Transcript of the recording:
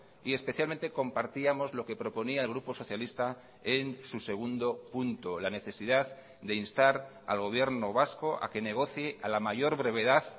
y especialmente compartíamos lo que proponía el grupo socialista en su segundo punto la necesidad de instar al gobierno vasco a que negocie a la mayor brevedad